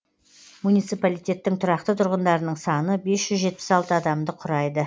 муниципалитеттің тұрақты тұрғындарының саны бес жүз жетпіс алты адамды құрайды